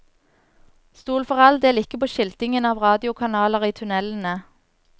Stol for all del ikke på skiltingen av radiokanaler i tunnelene.